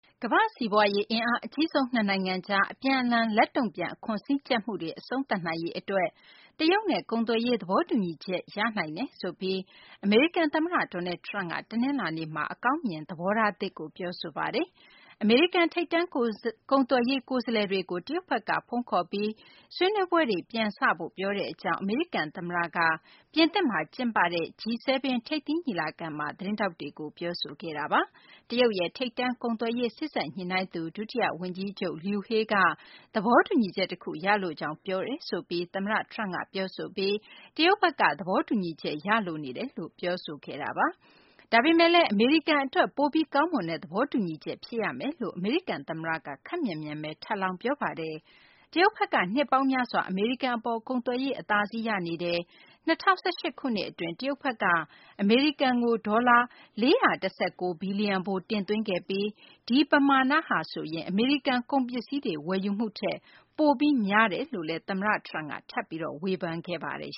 ကမ္ဘာ့စီးပွားရေး အင်အား အကြီးဆုံးနှစ်နိုင်ငံကြား အပြန်အလှန် လက်တုံ့ပြန် အခွန်စည်းကြပ်မှုတွေကို အဆုံးသတ်နိုင်ရေး အတွက် တရုတ်နဲ့ ကုန်သွယ်ရေး သဘောတူညီချက် ရရှိနိုင်တယ်ဆိုပြီး အမေရိကန် သမ္မတ Donald Trump က တနလာၤနေ့မှာ အကောင်းမြင် သဘောထားသစ်ကို ပြောဆိုပါတယ်။ အမေရိကန် ထိပ်တန်း ကုန်သွယ်ရေး ကိုယ်စားလှယ်တွေကို တရုတ်ဘက်က ဖုန်းခေါ်ပြီး ဆွေးနွေးပွဲတွေ ပြန်စဖို့ ပြောဆိုတဲ့ အကြောင်း အမေရိကန် သမ္မတ Trump က ပြင်သစ်မှာ ကျင်းပတဲ့ စက်မှုထိပ်သီး ၇ နိုင်ငံရဲ့ G-7 ထိပ်သီးညီလာခံမှာ သတင်းထောက်တွေကို ပြောဆိုခဲ့တာပါ။ တရုတ်ရဲ့ ထိပ်တန်း ကုန်သွယ်ရေး စေ့စပ်ညှိနှိုင်းသူ ဒုတိယ ဝန်ကြီးချုပ် Liu He က သဘောတူညီချက် တခု ရလိုကြောင်း ပြောဆိုတယ်လို့ သမ္မတ Trump က ပြောဆိုပြီး တရုတ်ဘက်က သဘောတူညီချက် ရလိုနေတယ်လို့ ပြောဆိုခဲ့တာပါ။ ဒါပေမယ့်လည်း အမေရိကန် အတွက် ပိုပြီး ကောင်းမွန်တဲ့ သဘောတူညီချက် ဖြစ်ရမယ်လို့လည်း အမေရိကန် သမ္မတက ခပ်မြန်မြန်ဘဲ ထပ်လောင်း ပြောပါတယ်။ တရုတ်ဘက်က နှစ်ပေါင်းများစွာ အမေရိကန် အပေါ် ကုန်သွယ်ရေး အသာစီးရနေတယ်၊ ၂၀၁၈ ခုနှစ် အတွင်း တရုတ်ဘက်က အမေရိကန်ကို ဒေါ်လာ ၄၁၉ ဘီလျံဖိုး တင်သွင်းခဲ့ပြီး ဒီပမာဏက အမေရိကန် ကုန်ပစ္စည်းတွေ ဝယ်ယူမှုထက် ပိုပြီးများတယ်လို့လည်း သမ္မတ Trump က ထပ်ပြီး ဝေဖန်ပါတယ်